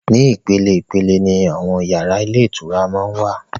Ní ìpele ìpele ni àwọn yàrá ilé ìtura máa wà.